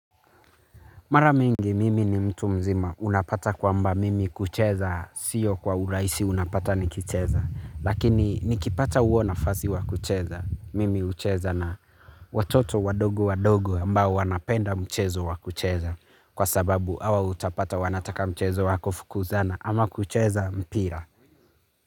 Mara mingi mimi ni mtu mzima unapata kwamba mimi kucheza, siyo kwa uraisi unapata nikicheza. Lakini nikipata uo nafasi wa kucheza, mimi ucheza na watoto wadogo wadogo ambao wanapenda mchezo wa kucheza. Kwa sababu awa utapata wanataka mchezo wakufukuzana ama kucheza mpira.